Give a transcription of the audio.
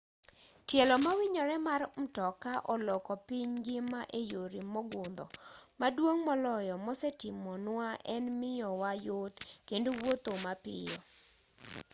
tielo mawinyore mar mtoka oloko piny ngima eyore mogundho maduong' moloyo mosetimo nwa en miyowa yot kendo wuotho mapiyo